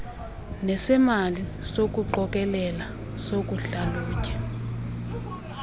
nesemali sokuqokelela sokuhlalutya